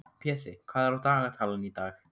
Pési, hvað er á dagatalinu í dag?